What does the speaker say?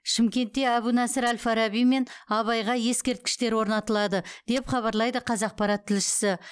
шымкентте әбу насыр әл фараби мен абайға ескерткіштер орнатылады деп хабарлайды қазақпарат тілшісі